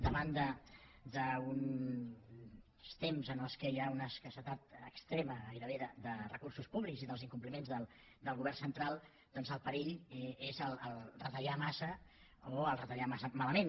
davant d’uns temps en què hi ha una escassedat extrema gairebé de recursos públics i dels incompliments del govern central doncs el perill és retallar massa o el retallar massa malament